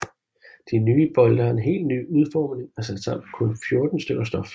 De nye bolde har en helt ny udforming og er sat sammen af kun 14 stykker stof